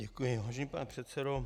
Děkuji, vážený pane předsedo.